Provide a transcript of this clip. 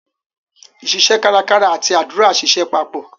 iṣiṣẹ́ kárakára àti àdúrà ṣiṣẹ́ papọ̀.